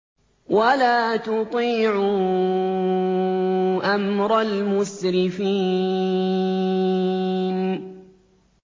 وَلَا تُطِيعُوا أَمْرَ الْمُسْرِفِينَ